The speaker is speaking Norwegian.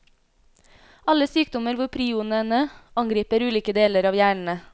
Alle sykdommer hvor prionene angriper ulike deler av hjernen.